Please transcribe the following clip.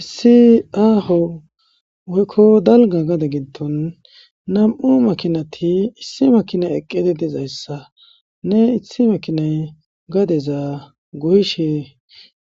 Issi aho oykko dalga gade gindon nam'u makinati issi makinay eqqede dizayssa ne ithi makinay gadeza goyshe